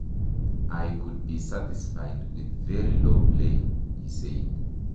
I could be satisfied with very low playng,'' he said.